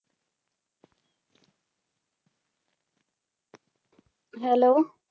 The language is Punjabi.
Hello